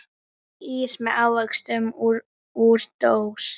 Ís með ávöxtum úr dós.